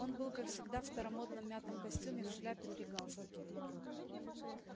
он был как всегда в старомодном мятом костюме в шляпе при галстуке